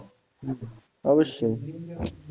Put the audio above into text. হম হম অবশ্যই।